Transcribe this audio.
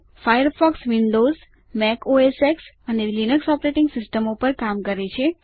Firefox Windows Mac OSX અને Linux operating સિસ્ટમો પર કામ કરે છે